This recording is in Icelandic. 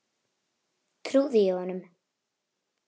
Trúði ég honum?